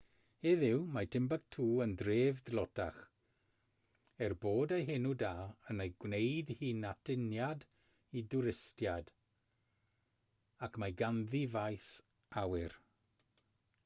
heddiw mae timbuktu yn dref dlotach er bod ei henw da yn ei gwneud hi'n atyniad i dwristiaid ac mae ganddi faes awyr